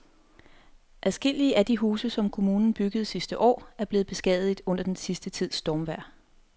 Adskillige af de huse, som kommunen byggede sidste år, er blevet beskadiget under den sidste tids stormvejr.